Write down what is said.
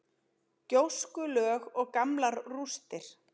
Gjóskulög og gamlar rústir.